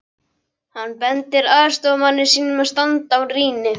Hann bendir aðstoðarmanni sínum að standa á rýni.